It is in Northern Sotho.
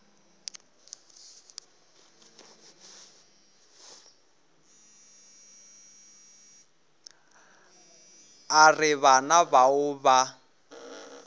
a re bana bao ba